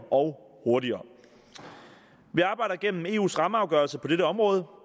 og hurtigere vi arbejder igennem eus rammeafgørelse på dette område